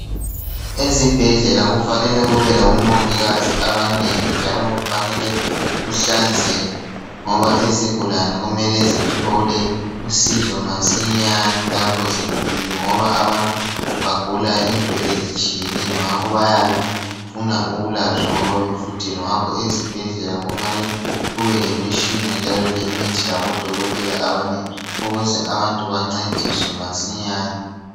Ezibhedlela kufanele kube labomongikazi abanengi njalo kufanele kuhlanzeke ngoba izigulane kumele zithole usizo masinyane lapho zifikile ngoba abantu bagula into ezitshiyeneyo ngakho bayabe befuna ukulatshwa ngoba befuthelwa ngakho ezibhedlela kufanele kubelemitshina njalo lemithi labodokotela abanengi ukuze abantu bancediswe masinyane.